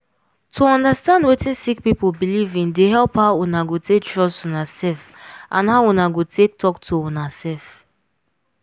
to understand wetin sick people belief in dey help how una go take trust una self and how una go take talk to una self.